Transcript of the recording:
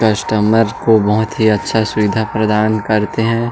Customer को बहुत अच्छा सुविधा प्रदान करते है।